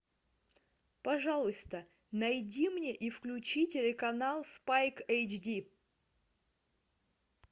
пожалуйста найди мне и включи телеканал спайк эйч ди